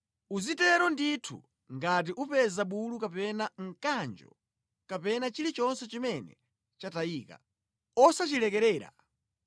Uzitero ndithu ngati upeza bulu kapena mkanjo kapena chilichonse chimene chatayika. Osachilekerera.